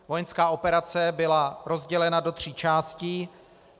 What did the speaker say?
Vojenská operace byla rozdělena do tří částí.